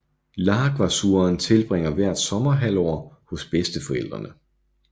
Lhagvasuren tilbringer hvert sommerhalvår hos bedsteforældrene